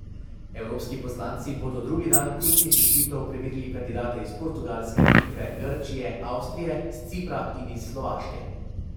Evropski poslanci bodo drugi dan ustnih izpitov preverili kandidate iz Portugalske, Litve, Grčije, Avstrije, s Cipra in iz Slovaške.